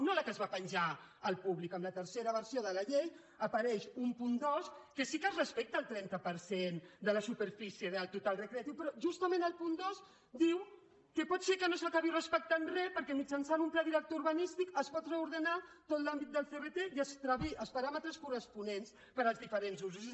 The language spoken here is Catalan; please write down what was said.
no la que es va penjar al públic en la tercera versió de la llei apareix un punt dos en què sí que es respecta el trenta per cent de la superfície del total recreatiu però justament el punt dos diu que pot ser que no s’acabi respectant res perquè mitjançant un pla director urbanístic es pot reordenar tot l’àmbit del crt i es trobin els paràmetres corresponents per als diferents usos